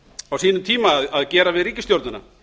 á sínum tíma að gera við ríkisstjórnina